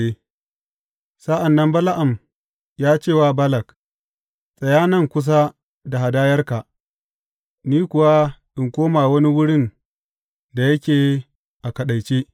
Sa’an nan Bala’am ya ce wa Balak, Tsaya nan kusa da hadayarka, ni kuwa in koma wani wurin da yake a kaɗaice.